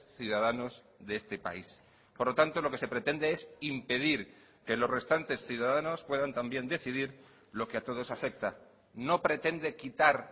ciudadanos de este país por lo tanto lo que se pretende es impedir que los restantes ciudadanos puedan también decidir lo que a todos afecta no pretende quitar